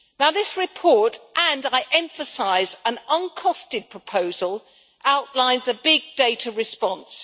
This report and, I emphasise, an uncosted proposal outlines a big data response.